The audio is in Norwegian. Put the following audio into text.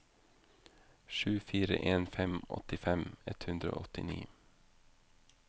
sju fire en fem åttifem ett hundre og åttini